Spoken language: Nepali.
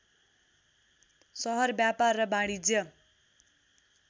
सहर व्यापार र वाणिज्य